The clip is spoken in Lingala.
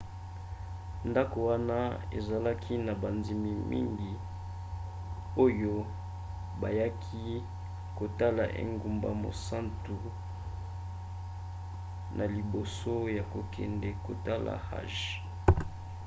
ndako wana ezalaki na bandimi mingi oyo bayaki kotala engumba mosantu na liboso ya kokende kotala hajj